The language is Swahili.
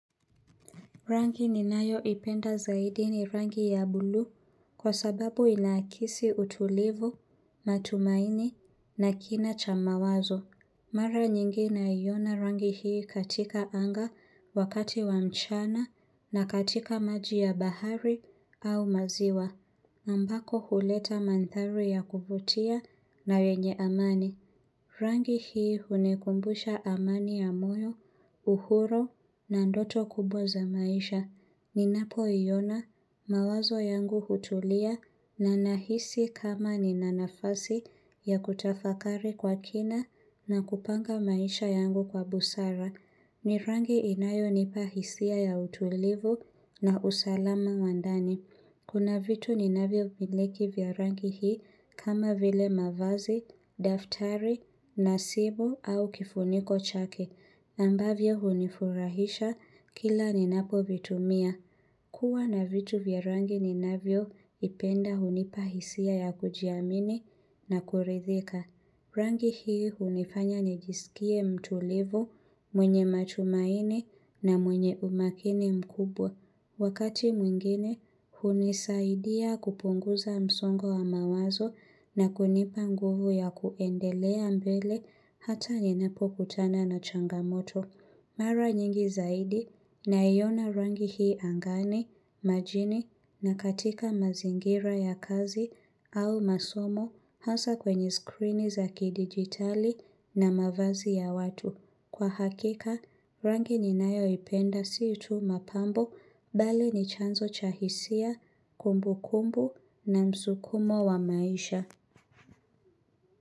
Rangi ninayoipenda zaidi ni rangi ya buluu, kwa sababu inaakisi utulivu, matumaini na kina cha mawazo. Mara nyingi naiona rangi hii katika anga, wakati wa mchana, na katika maji ya bahari au maziwa. Ambako huleta mandhari ya kuvutia na wenye amani. Rangi hii hunikumbusha amani ya moyo, uhuru, na ndoto kubwa za maisha. Ninapoiona, mawazo yangu hutulia, na nahisi kama nina nafasi, ya kutafakari kwa kina, na kupanga maisha yangu kwa busara. Ni rangi inayonipa hisia ya utulivu, na usalama wa ndani. Kuna vitu ninavyo vileki vya rangi hii, kama vile mavazi, daftari, na simu au kifuniko chake. Ambavyo hunifurahisha, kila ninapovitumia. Kuwa na vitu vya rangi ni navyovipenda hunipa hisia ya kujiamini na kuridhika. Rangi hii hunifanya nijisikie mtulivu, mwenye matumaini na mwenye umakini mkubwa. Wakati mwingine, hunisaidia kupunguza msongo wa mawazo na kunipa nguvu ya kuendelea mbele hata ninapokutana na changamoto. Mara nyingi zaidi, naiona rangi hii angani, majini na katika mazingira ya kazi au masomo, hasa kwenye screen za kidigitali na mavazi ya watu. Kwa hakika, rangi ninayoipenda si tu mapambo, mbali ni chanzo cha hisia, kumbu kumbu na msukumo wa maisha.